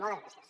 moltes gràcies